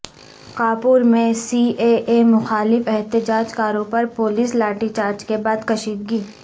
کانپور میں C A A مخالف احتجاج کاروں پر پولیس لاٹھی چارج کے بعد کشیدگی